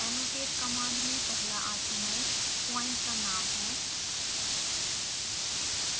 annotate command में पहला argument point का नाम है